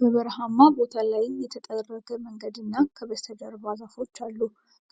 በበረሃማ ቦታ ላይ የተጠረገ መንገድ እና ከበስተጀርባ ዛፎች አሉ።